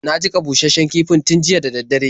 Na jiƙa bushasshen kifin tun jiya da dare.